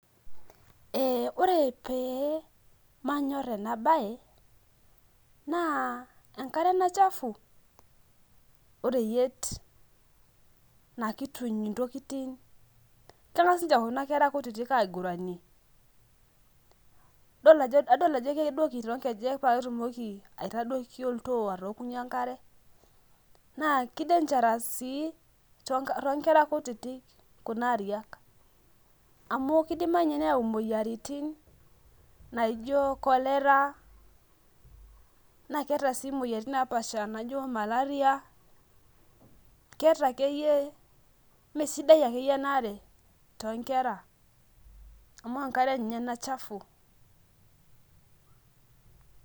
Ee ore pe manyor enabae na enkare ena chafu oreyiet na kituny ntokitin kangas ninye kuna kera kutitik aiguranie, kadolta ajo kedoki paketumoki aitadoki oltoo pakeokoki enkare na ki dangerous si to nkera kutitik kuna ariak amu kidimayu neyau moyiaritin naijo cholera na keeta moyiaritin naijo maleria keeta akeyie mesidai akeyie enaare tonkera amu enkare ena chafu .